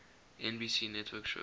nbc network shows